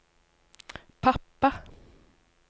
pappa